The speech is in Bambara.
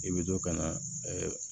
I bɛ to ka na